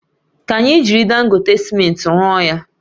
Ka anyi jiri Dangote simenti rụọ ya